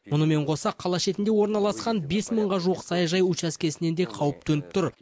мұнымен қоса қала шетінде орналасқан бес мыңға жуық саяжай учаскесіне де қауіп төніп тұр